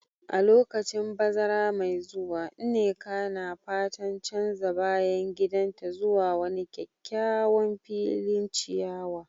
A lokacin bazara mai zuwa, Nneka na fatan canza bayan gidanta zuwa wani kyakkyawan filin ciyawa.